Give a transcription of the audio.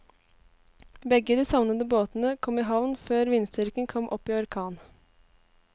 Begge de savnede båtene kom i havn før vindstyrken kom opp i orkan.